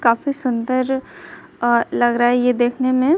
काफी सुंदर अ लग रहा है ये देखने में--